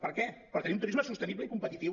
per què per tenir un turisme sostenible i competitiu